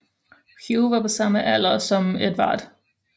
Hugh var på samme alder som Edvard